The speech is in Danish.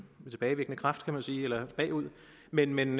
tilbagevirkende kraft kan man sige eller bagud men men